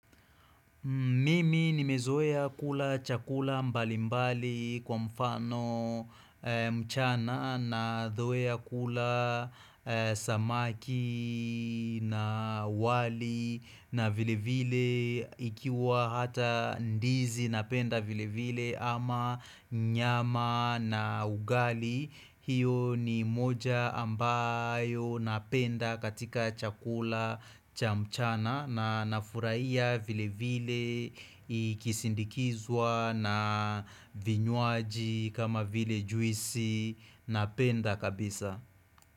Mimi nimezoea kula chakula mbalimbali kwa mfano mchana nazoea kula samaki na wali na vile vile ikiwa hata ndizi napenda vile vile ama nyama na ugali hiyo ni moja ambayo napenda katika chakula cha mchana na nafurahia vile vile ikisindikizwa na vinywaji kama vile juisi. Napenda kabisa.